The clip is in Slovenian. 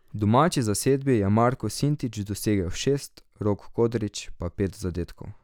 V domači zasedbi je Marko Sintič dosegel šest, Rok Kodrič pa pet zadetkov.